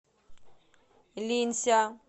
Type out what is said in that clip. линься